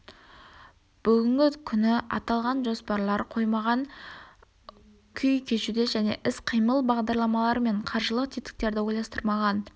бүгінгі күні аталған жоспарлар қоймаған күй кешуде және іс-қимыл бағдарламалары мен қаржылық тетіктерді ойластырмаған